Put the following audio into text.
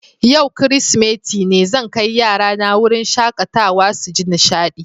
Yau kiristimeti ne, zan kai yarana wurin shakatawa su ji nishaɗi.